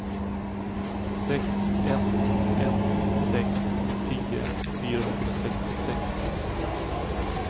sex ett ett sex tio fyrahundrasextiosex